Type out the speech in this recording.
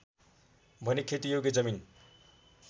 भने खेतीयोग्य जमिन